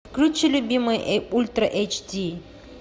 включи любимый ультра эйч ди